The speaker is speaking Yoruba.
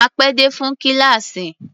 A pé dé fún kíláàsì.